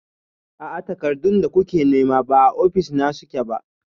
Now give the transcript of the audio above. A'a, takardun da kuke nema ba a ofis na suke ba.